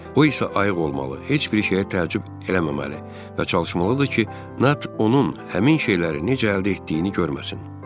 O isə ayıq olmalı, heç bir şeyə təəccüb eləməməli və çalışmalıdır ki, Nat onun həmin şeyləri necə əldə etdiyini görməsin.